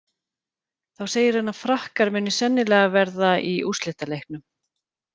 Þá segir hann að Frakkar muni sennilega verða í úrslitaleiknum.